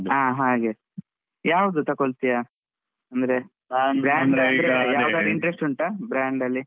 ಹಾ ಹಾಗೆ. ಯಾವ್ದು ತಕೋಳ್ತಿಯ? ಅಂದ್ರೆ interest ಉಂಟಾ? brand ಅಲ್ಲಿ.